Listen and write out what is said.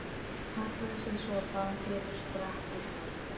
Hallaði sér svo á bakið og sprakk af hlátri.